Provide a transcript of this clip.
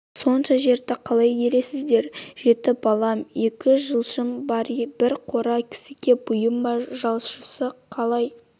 сонша жерді қалай игересіздер жет балам екі жалшым бар бір қора кісіге бұйым ба жалшысы қалай